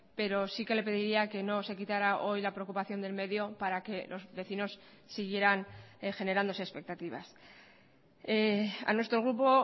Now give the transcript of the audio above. pero sí que le pediría que no se quitara hoy la preocupación del medio para que los vecinos siguieran generándose expectativas a nuestro grupo